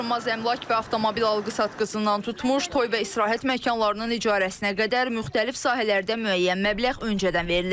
Daşınmaz əmlak və avtomobil alqı-satqısından tutmuş, toy və istirahət məkanlarının icarəsinə qədər müxtəlif sahələrdə müəyyən məbləğ öncədən verilir.